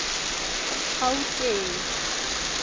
gauteng